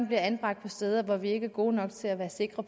bliver anbragt på steder hvor vi ikke er gode nok til at sikre